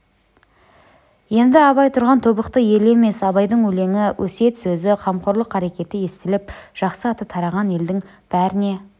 енді абай тұрған тобықты елі емес абайдың өлеңі өсиет сөзі қамқорлық қарекеті естіліп жақсы аты тараған елдің бәріне